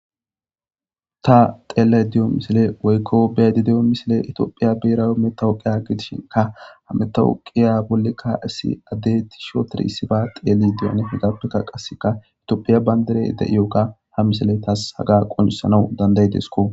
Ta xeele diyo misile woykko beyadi deyo misile itoophiya beeraw metawuqiya gidishinka hametawuqiya bollikka issi addeyti shootir issiba xeeli deyane hegappeka qasseka itoophiya bayndirey de7iyoka ha misile taas haga qonisanau danday deesko.